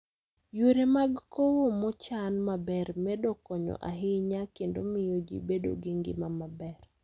Yore mag kowo mochan maber medo konyo ahinya kendo miyo ji bedo gi ngima maber.